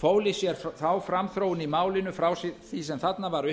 fól í sér þá framþróun í málinu frá því sem þarna var